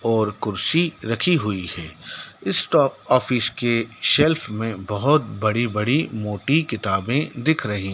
और कुर्सी रखी हुई है स्टॉप ऑफिस के सेल्स में बहोत बड़ी बड़ी मोटी किताबें दिख रही--